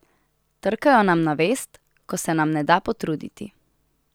Trkajo nam na vest, ko se nam ne da potruditi.